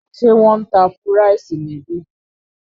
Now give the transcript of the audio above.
Ṣé wọn ń tá fúráìsì níbí?